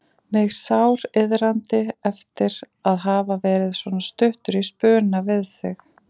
Mig sáriðraði eftir að hafa verið svona stuttur í spuna við þig.